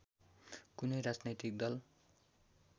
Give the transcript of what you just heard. कुनै राजनैतिक दल